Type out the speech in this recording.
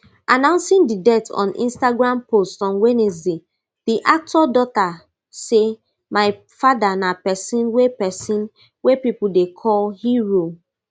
announcing di death on instagram post on wednesday di actor daughter say my father na pesin wey pesin wey pipo dey call hero